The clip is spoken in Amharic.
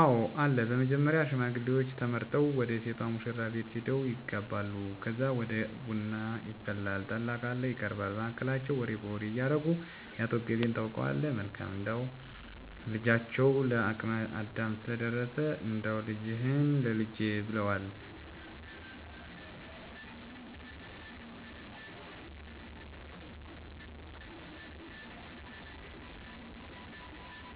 አወ አለ በመጀመሪያ ሽማግሌዎች ተመርጠው ወደ ሴቷ ሙሽራቤት ሄደው ይጋባሉ ከዛ ደግሞ ቡና ይፈላል ጠላ ካለ ይቀርባል በመሀከላቸው ወሬ በወሬ እያረጉ የአቶ እገሌን ታውቀዋለህ መልካም እንደው ልጃቸው ለአቅመ አዳም ስለደረሰ እንዳው ልጃችህን ላልጄ ብለውዋን እና እናንተም እንደማታሰፍሩን እርግጠኞች ነን ብለው ያወራሉ ከዛም አባትየው አይ እስኪ ከባለቤቴ ጋር እና ከቤተሰቡ ጋር መወያያት የስፈልጋል ብለው ያስረዱዎቸዋል ከዛን ቀነ ቀጠሮ ይዘወ ይለያያሉ ከዛን ሰውየው ከተወያየ በሁላ በቀነ ቀጠሮው ቀን ተሰናድተው ይጠብቃቸዋል ሽማግሌዎቸ በሳአታቸው ሄደው የጠይቃሉ ከዛን አሺ ከተባሉ የሰርጉን